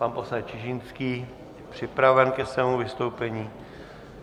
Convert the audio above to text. Pan poslanec Čižinský je připraven ke svému vystoupení.